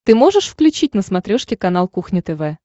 ты можешь включить на смотрешке канал кухня тв